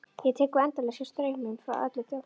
Ég tek við endalausum straumum frá öllu þjóðfélaginu.